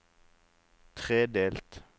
tredelt